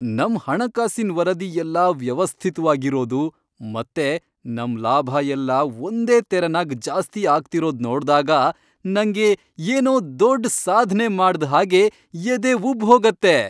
ನಮ್ ಹಣಕಾಸಿನ್ ವರದಿ ಎಲ್ಲ ವ್ಯವಸ್ಥಿತ್ವಾಗ್ ಇರೋದು ಮತ್ತೆ ನಮ್ ಲಾಭ ಎಲ್ಲ ಒಂದೇ ತೆರನಾಗ್ ಜಾಸ್ತಿ ಆಗ್ತಿರೋದ್ ನೋಡ್ದಾಗ ನಂಗೆ ಏನೋ ದೊಡ್ಡ್ ಸಾಧ್ನೆ ಮಾಡ್ದ್ ಹಾಗೆ ಎದೆ ಉಬ್ಬ್ಹೋಗತ್ತೆ.